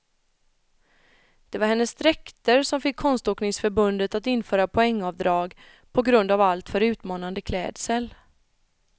Det var hennes dräkter som fick konståkningsförbundet att införa poängavdrag på grund av alltför utmanande klädsel.